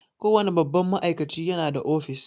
Kowane babban ma'aikaci ya na da office